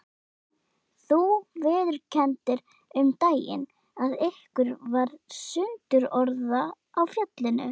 Þú viðurkenndir um daginn að ykkur varð sundurorða á fjallinu.